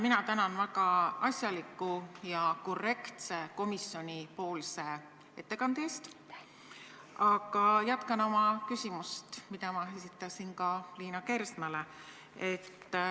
Ma tänan väga asjaliku ja korrektse komisjoni ettekande eest, aga jätkan oma küsimust, mille ma esitasin Liina Kersnale.